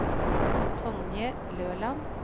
Tonje Løland